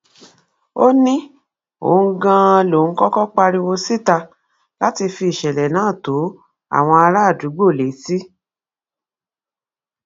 ó ní òun ganan lòún kọkọ pariwo síta láti fi ìṣẹlẹ náà tó àwọn àràádúgbò létí